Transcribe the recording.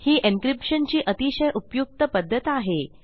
ही encryption ची अतिशय उपयुक्त पध्दत आहे